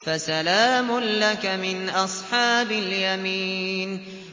فَسَلَامٌ لَّكَ مِنْ أَصْحَابِ الْيَمِينِ